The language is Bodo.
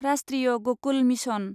राष्ट्रीय गकुल मिसन